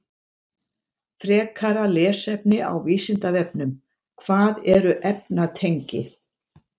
Frekara lesefni á Vísindavefnum: Hvað eru efnatengi?